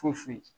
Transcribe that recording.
Foyi foyi